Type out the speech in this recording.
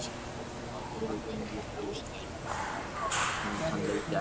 Hún var óvenju höst en hann leit ekki einu sinni upp.